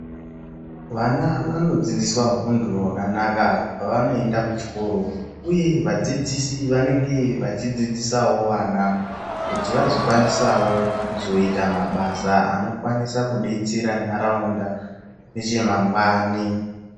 Vana vanodzidziswa unhu hwakanaka pavanoende kuchikoro uye vadzidzisi vanenge vachidzidzisawo vana kuti vazokwanisawo kuzoita mabasa anokwanisa kudetsera nharaunda nechemangwani.